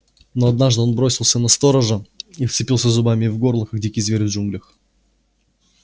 но однажды он бросился на сторожа и вцепился зубами ему в горло как дикий зверь в джунглях